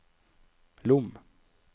Lom